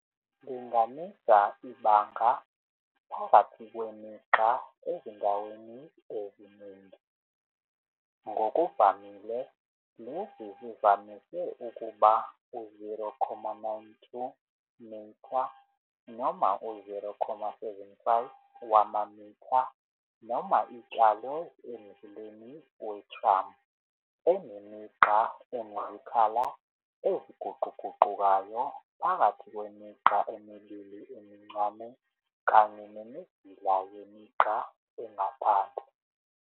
Linganisa ibanga phakathi kwemigqa ezindaweni eziningi. Ngokuvamile lezi zivamise ukuba u-0,92 m noma u-0,75 wamamitha noma itshalwe emzileni we-tram enemigqa enezikhala eziguquguqukayo phakathi kwemigqa emibili emincane kanye nemizila yemigqa engaphandle.